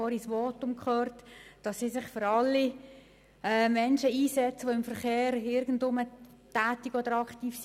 Ich habe vorhin in Ihrem Votum gehört, dass Sie sich für alle Menschen einsetzen, die im Verkehr tätig oder aktiv sind.